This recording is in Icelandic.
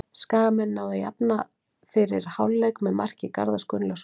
Skagamenn náðu að jafna fyrir hálfleik með marki Garðars Gunnlaugssonar.